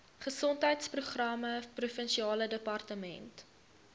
gesondheidsprogramme provinsiale departement